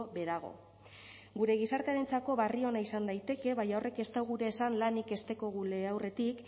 beherago gure gizartearentzako berri ona izan daiteke baina horrek ez dau gure esan lanik ez dekogula aurretik